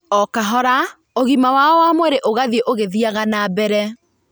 O kahora ũgima wao wa mwĩrĩ ũgathiĩ ũgĩthiaga na mbere.